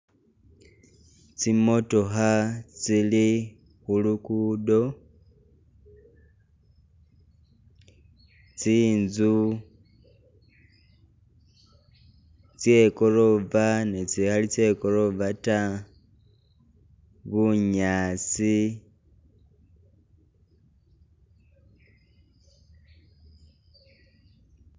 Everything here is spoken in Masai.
Tsi'motookha tsili khulugudo tsinzu tse gorofa ni tsikhali tse gorofa ta bunyaasi.